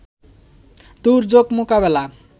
দুর্যোগ মোকাবেলা